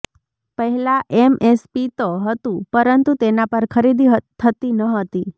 પહેલા એમએસપી તો હતું પરંતુ તેના પર ખરીદી થતી નહતી